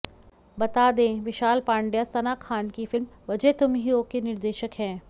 बता दें विशाल पांड्या सना खान की फिल्म वजह तुम ही हो के निर्देशक है